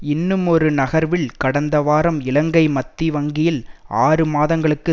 இன்னுமொரு நகர்வில் கடந்த வாரம் இலங்கை மத்தி வங்கி ஆறு மாதங்களுக்கு